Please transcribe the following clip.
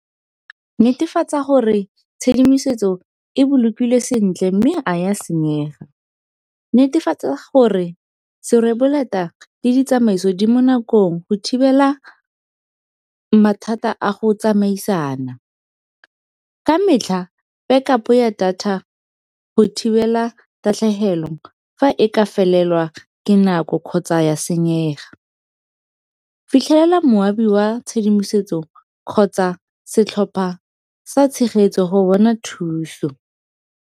Netefatsa gore tshedimosetso e bolokile sentle mme a ya senyega. Netefatsa gore serweboleta le ditsamaiso di mo nakong go thibela mathata a go tsamaisana. Ka metlha back up ya data go thibela tatlhegelo fa e ka felelwa ke nako kgotsa ya senyega. Fitlhelela moabi oa tshedimosetso kgotsa setlhopa sa tshegetso go bona thuso.